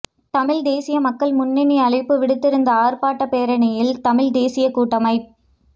தமிழ்த் தேசிய மக்கள் முன்னணி அழைப்பு விடுத்திருந்த ஆர்ப்பாட்டப் பேரணியில் தமிழ்த் தேசியக் கூட்டமை